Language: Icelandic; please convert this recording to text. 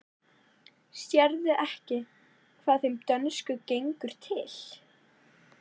Sérðu ekki hvað þeim dönsku gengur til?